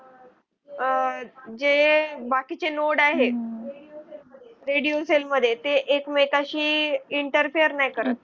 आह जे बाकी चे node आहे. radio cell मध्ये ते एकमेकांशी interfere नाही कर.